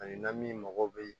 Ani na min mago bɛ